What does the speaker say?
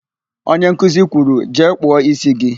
Onye nkuzi kwuru, "jee kpụọ ísí gị"!